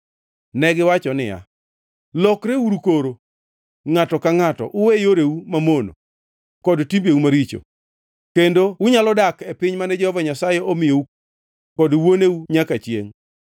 Negiwacho niya, “Lokreuru koro, ngʼato ka ngʼato, uwe yoreu mamono kod timbeu maricho, kendo unyalo dak e piny mane Jehova Nyasaye omiyou kod wuoneu nyaka chiengʼ.